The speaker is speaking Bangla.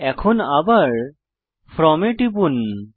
এখন আবার ফ্রম এ টিপুন